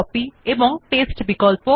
writer এ cut copy এবং paste বিকল্প